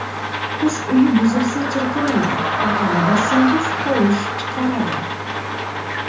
Qush uyi buzilsa, chirqiraydi, baqani bossangiz, tovush chiqaradi.